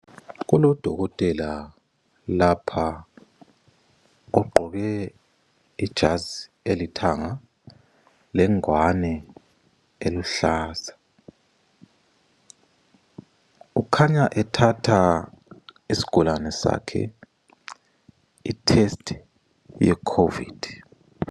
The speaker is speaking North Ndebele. Kulodokotela lapha ogqoke ijazi elithanga lengwane eluhlaza ukhanya ethatha isigulane sakhe ithesti yecovid.